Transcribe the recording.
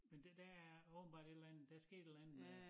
Men det der er åbenbart et eller andet der er sket et eller andet øh